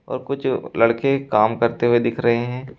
और कुछ लड़के काम करते हुए दिख रहे हैं।